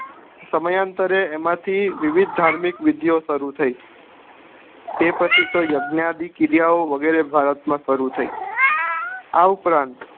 સમય અંતરે એમાં થી વિવિધ ધાર્મિક વિધિઓ શરૂ થઇ તે પછી યજ્ઞદી ક્રિયા ઓ વગેરે ભારત માં શરૂ થઇ આ ઉપરાંત